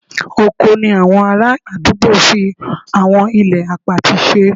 Oko ni àwọn ará àdúgbò fi àwọn ilẹ̀ àpatì ṣe